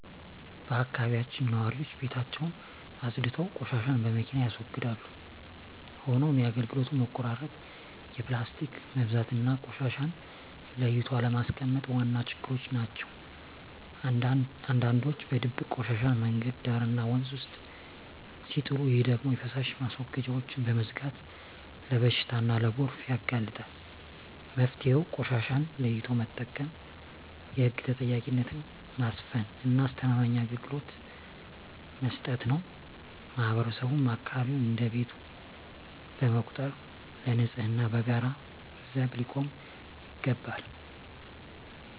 በአካባቢያችን ነዋሪዎች ቤታቸውን አፅድተው ቆሻሻን በመኪና ያስወግዳሉ። ሆኖም የአገልግሎት መቆራረጥ፣ የፕላስቲክ መብዛትና ቆሻሻን ለይቶ አለማስቀመጥ ዋና ችግሮች ናቸው። አንዳንዶች በድብቅ ቆሻሻን መንገድ ዳርና ወንዝ ውስጥ ሲጥሉ፣ ይህ ደግሞ የፍሳሽ ማስወገጃዎችን በመዝጋት ለበሽታና ለጎርፍ ያጋልጣል። መፍትሄው ቆሻሻን ለይቶ መጠቀም፣ የህግ ተጠያቂነትን ማስፈንና አስተማማኝ አገልግሎት መስጠት ነው። ማህበረሰቡም አካባቢውን እንደ ቤቱ በመቁጠር ለንፅህናው በጋራ ዘብ ሊቆም ይገባል።